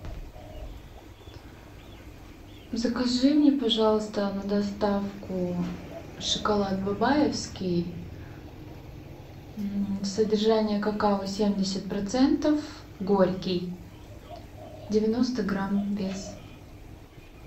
закажи мне пожалуйста на доставку шоколад бабаевский содержание какао семьдесят процентов горький девяносто грамм вес